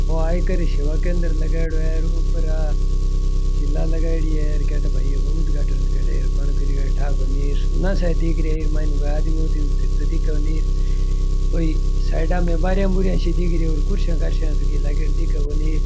आयकर सेवा केंद्र लगायेड़ो है सिला लगाए है और गेट पे बहुत बड़े कोण करे था को नई सुना सा दिखरे आदमी को नई दिख को नई और साइडाँ में बरिया बुरियाँ सी दिखरी है कुर्सियां तो लागेड़ी दिखे कोणी --